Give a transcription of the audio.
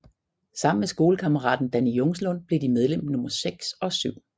Sammen med skolekammeraten Danny Jungslund blev de medlem nummer seks og syv